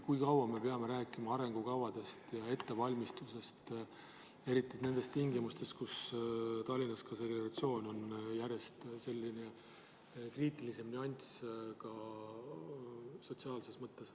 Kui kaua me peame rääkima arengukavadest ja ettevalmistusest tingimustes, kus Tallinnas on segregatsioon ka sotsiaalses mõttes järjest kriitilisem nüanss?